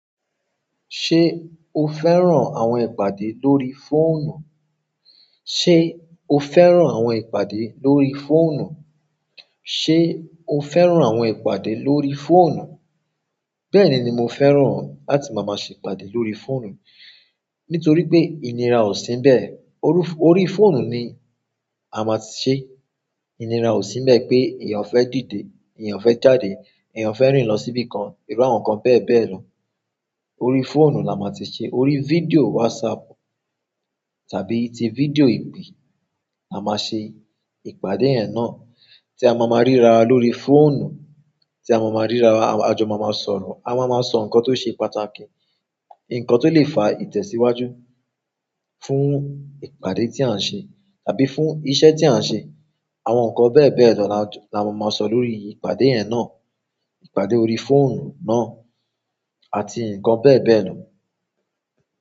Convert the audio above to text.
Ṣé o fẹ́ràn àwọn ìpàdé lórí fóònù? Ṣé o fẹ́ràn àwọn ìpàdé lórí fóònù? Ṣé o fẹ́ràn àwọn ìpàdé lórí fóònù? Bẹ́ẹ̀ni, mo fẹ́ràn láti máa ṣe ìpàdé lórí fóònù. Nitoripe inira o si níbẹ̀, orí fóònù ni a maa ti se. Ìnira ò sínbẹ́ẹ̀ pé èèyàn fẹ́ dìde, èèyàn fẹ́ jáde, èèyàn fẹ́ rìn lọ síbìkan, irú àwọn nǹkan bẹ́ẹ̀ bẹ́ẹ̀ lọ. Orí fóònù la máa ti ṣe, orí fídíò WhatsApp tàbí ti fídíò ìpè la máa ṣe ìpàdé yẹ́n náà tí a máa máa rírawa lórí fóònù, tí a máa máa ríra wa, àjọ máa máa sọ̀rọ̀, a máa máa sọ nǹkan tó ṣe pàtàkì, ǹkan tó lè fa ìtẹ̀síwájú fún ìpàdé tí à ń ṣe tàbí fún iṣẹ́ tí à ń ṣe. Àwọn nǹkan bẹ́ẹ̀ bẹ́ẹ̀ lọ la máa máa sọ lórí ìpàdé yẹ́n náà, ìpàdé orí fóònù náà àti ǹkan bẹ́ẹ̀ bẹ́ẹ̀ lọ.